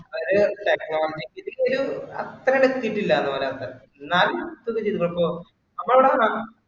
ഒരു technologically ഒരു അത്ര അധികം എത്തിയിട്ടില്ല ഒരാക്ക്‌, എന്നാലും ഒരു അപ്പൊ അവിടെ വേണം